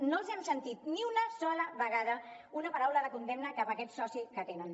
no els hem sentit ni una sola vegada una paraula de condemna cap a aquest soci que tenen